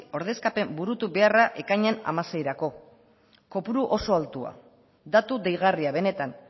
ordezkapen burutu beharra ekainean hamaseirako kopuru oso altua datu deigarria benetan